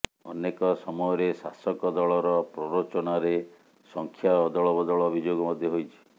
ଅନେକ ସମୟରେ ଶାସକ ଦଳର ପ୍ରରୋଚନାରେ ସଂଖ୍ୟା ଅଦଳ ବଦଳ ଅଭିଯୋଗ ମଧ୍ୟ ହୋଇଛି